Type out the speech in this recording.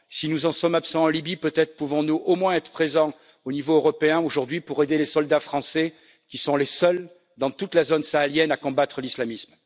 Si nous en sommes absents en Libye, peut être pouvons nous au moins être présents au niveau européen aujourd'hui pour aider les soldats français qui sont les seuls dans toute la zone sahélienne à combattre l'islamisme.